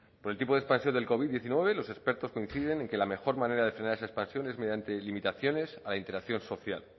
por tipo de expansión del covid diecinueve los expertos coinciden en que la mejor manera de frenar esa expansión es mediante limitaciones a la interacción social